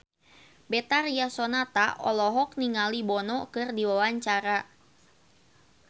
Betharia Sonata olohok ningali Bono keur diwawancara